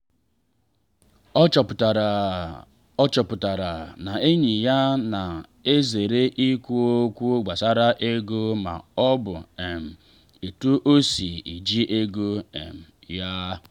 ọ chọpụtara ọ chọpụtara na enyi ya na ezere ikwu okwu gbasara ego ma ọ bụ um etu o si eji ego um ya.